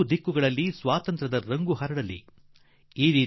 ನಾಲ್ಕೂ ನಿಟ್ಟಿನಲ್ಲಿ ಸ್ವಾತಂತ್ರ್ಯದ ಪರಿಮಳ ಮತ್ತೊಮ್ಮೆ ಅನುಭವಿಸುವಂತಾಗಲಿ